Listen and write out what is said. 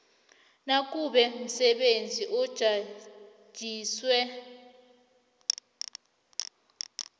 nakube umsebenzi ujanyiswe